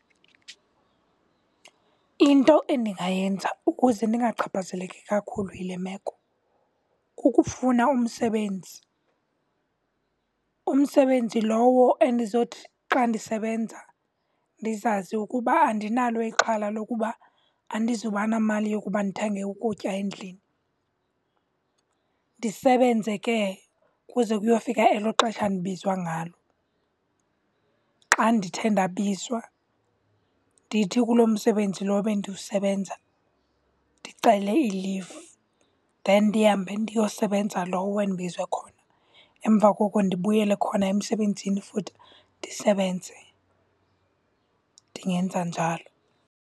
Into endingayenza ukuze ndingachaphazeleki kakhulu yile meko kukufuna umsebenzi. Umsebenzi lowo endizothi xa ndisebenza ndizazi ukuba andinalo ixhala lokuba andizoba namali yokuba ndithenge ukutya endlini. Ndisebenze ke kuze kuyofika elo xesha ndibizwa ngalo. Xa ndithe ndabizwa, ndithi kuloo msebenzi lo bendiwusebenza ndicele i-leave. Then ndihambe ndiyosebenza lo endibizwe khona, emva koko ndibuyele khona emsebenzini futhi ndisebenze. Ndingenza njalo.